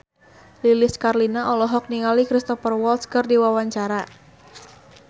Lilis Karlina olohok ningali Cristhoper Waltz keur diwawancara